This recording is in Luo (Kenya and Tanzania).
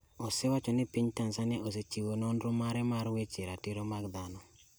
osewacho ni piny Tanzania osechiwo nonro mare mar weche ratiro mag dhano